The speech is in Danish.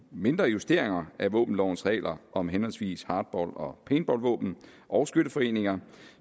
mindre justeringer af våbenlovens regler om henholdsvis hardball og paintballvåben og skytteforeninger